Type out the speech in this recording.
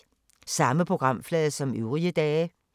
Samme programflade som øvrige dage